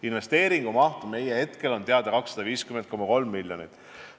Investeeringumaht meile hetkel teadaolevalt on 250,3 miljonit.